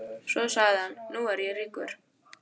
Svo sagði hann: Nú er ég ríkur.